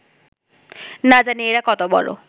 না জানি এঁরা কত বড়